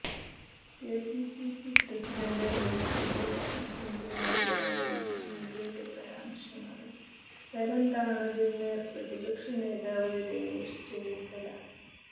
KPCC president Mullappally രാമചന്ദ്രനെതിരായ മുഖ്യമന്ത്രിയുടെ പരാമർശങ്ങള് തരംതാണതെന്ന് പ്രതിപക്ഷ നേതാവ് രമേശ് ചെന്നിത്തല